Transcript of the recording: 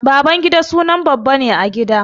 Babangida sunan babba ne a gida.